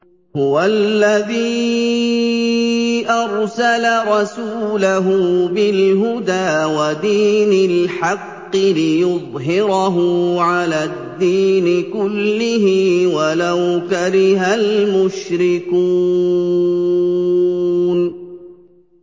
هُوَ الَّذِي أَرْسَلَ رَسُولَهُ بِالْهُدَىٰ وَدِينِ الْحَقِّ لِيُظْهِرَهُ عَلَى الدِّينِ كُلِّهِ وَلَوْ كَرِهَ الْمُشْرِكُونَ